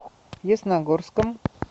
ясногорском